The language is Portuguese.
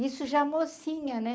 Isso já mocinha, né?